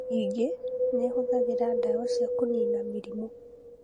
Ningĩ nĩ ihũthagĩra ndawa cia kũniina mĩrimũ.